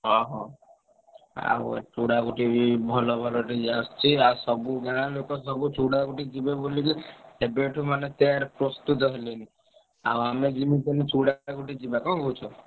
ହଁ ହଁ। ଆଉ ଆଉ ଚୂଡା ବି ଭଲ ଭଲ DJ ଆସୁଚି। ଆଉ ସବୁ ଗାଁ ଲୋକ ସବୁ ଚୂଡା ଯିବେ ବୋଲିକି ଏବେଠୁ ମାନେ ତୟାର ପ୍ରସ୍ତୁତ ହେଲେଣି। ଆଉ ଆମେ ଯିମିତି ହେଲେ ଚୂଡା ଯିବା କଣ କହୁଛ?